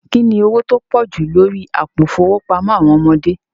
Kíni ọwọ̀ tó pọ̀ jú lórí àpò ifowópamọ̀ àwọn ọmọdé?